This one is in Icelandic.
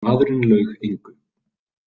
Og maðurinn laug engu.